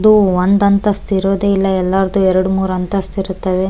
ಇದು ಒಂದ್ ಅಂತಸ್ತ್ ಇರೋದೇ ಇಲ್ಲ ಎಲ್ಲರದ್ದೂ ಎರಡ್ ಮೂರ್ ಅಂತಸ್ತ್ ಇರುತ್ತದೆ .